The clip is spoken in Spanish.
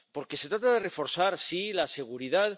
Porque se trata de reforzar, sí, la seguridad.